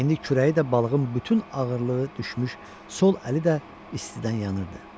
İndi kürəyi də balığın bütün ağırlığı düşmüş sol əli də istidən yanırdı.